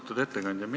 Austatud ettekandja!